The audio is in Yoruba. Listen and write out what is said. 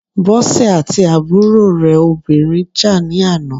Bọ́sè àti àbúrò rẹ̀ obìnrin jà ní àná.